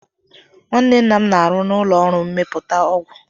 Nwanne nna m na-arụ n'ụlọọrụ mmepụta ọgwụ